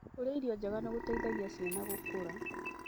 Kũrĩa irio njega nĩ gũteithagia ciana gũkũra.